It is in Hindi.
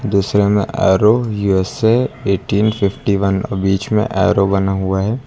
दूसरे में arrow U S A eighteen fifty one और बीच में एरो बना हुआ है।